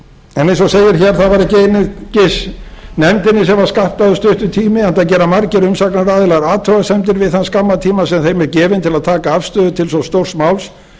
segir hér var það ekki einungis nefndinni sem var skammtaður stuttur tími enda gera margir umsagnaraðilar athugasemdir við þann skamma tíma sem þeim er gefinn til að taka afstöðu til svo stórs máls